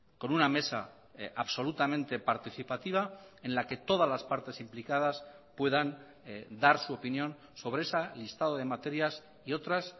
con una mesa absolutamente participativa en la que todas las partes implicadas puedan dar su opinión sobre ese listado de materias y otras